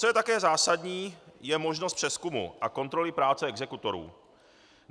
Co je také zásadní, je možnost přezkumu a kontroly práce exekutorů.